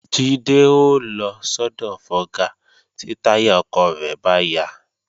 Jídé ó lọ sọ́dọ̀ fọga tí táyà ọkọ̀ rẹ̀ bá ya